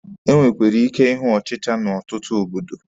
E nwere ike ịhụ ọchịcha n'ọtụtụ obodo.